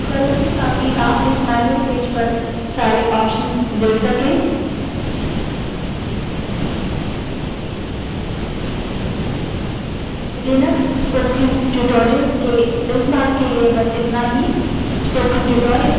मैं ऊपर scroll करुँगी ताकि आप इस मैन्यूअल पेज पर सारे options देख सकें